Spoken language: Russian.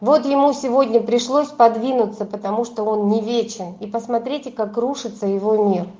вот ему сегодня пришлось подвинуться потому что он не вечен и посмотрите как рушится его мир